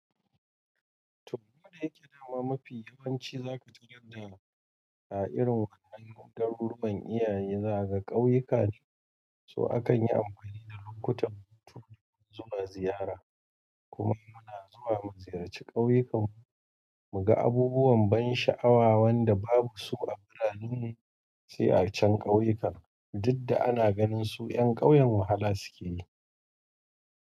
Toh, he gama mafi yawanci za ka tarar da su a irin wani iyaye za ka kauyuka, to akan yi amfani da lokutan hutu don zuwa ziyara. Kuma muna zuwa mu ziyarci ƙauyukan mu mu ga abubuwan ban sha'awa wanda babu su a birane sai a can kauyukan, duk da ana ganin su yan ƙauyen wahala suke yi.